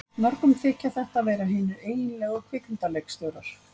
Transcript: Mörgum þykja þetta vera hinir eiginlegu kvikmyndaleikstjórar.